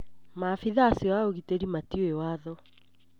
Maabitha acio a ũgitĩri matiũĩ watho